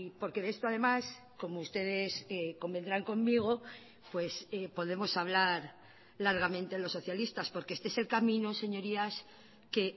porque de esto además como ustedes convendrán conmigo pues podemos hablar largamente los socialistas porque este es el camino señorías que